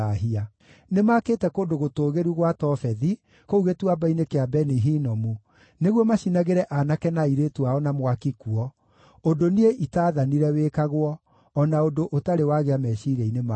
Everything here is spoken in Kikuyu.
Nĩmakĩte kũndũ gũtũũgĩru gwa Tofethi, kũu Gĩtuamba-inĩ kĩa Beni-Hinomu, nĩguo macinagĩre aanake na airĩtu ao na mwaki kuo, ũndũ niĩ itaathanire wĩkagwo, o na ũndũ ũtarĩ wagĩa meciiria-inĩ makwa.